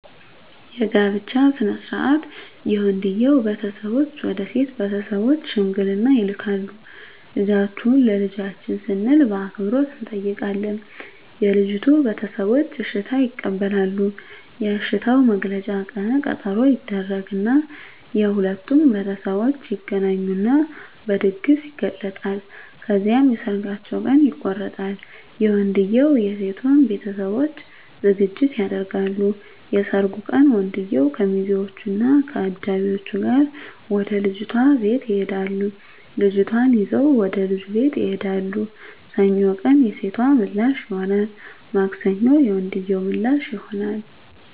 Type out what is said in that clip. የጋብቻ ሥነ ሥርዓት የወንድየዉ ቤተሰቦች ወደ ሴት ቤተሰቦች ሽምግልና ይልካሉ ልጃችሁን ለልጃችን ስንል በአክብሮት እንጠይቃለን የልጂቱ ቤተሰቦች እሽታ ይቀበላሉ የእሽታዉ መግለጫ ቀነ ቀጠሮ ይደረግ እና የሁለቱም ቤተሠቦች ይገናኙና በድግስ ይገለፃል። ከዚያም የሠርጋቸዉ ቀን ይቆረጣል የወንድየዉም የሴቶም ቤተሠቦች ዝግጅት ያደርጋሉ። የሠርጉ ቀን ወንድየዉ ከሚዚወች እና ከአጃቢወቹ ጋር ወደ ልጅቷ ቤት ይሄዳሉ ልጅቷን ይዘዉ ወደ ልጁ ቤት ይሄዳሉ። ሰኞ ቀን የሴቶ ምላሽ ይሆናል ማክሰኞ የወንድየዉ ምላሽ ይሆናል።